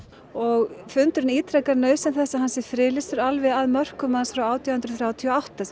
og fundurinn ítrekar nauðsyn þess að hann sé friðlýstur alveg að mörkum hans frá átján hundruð þrjátíu og átta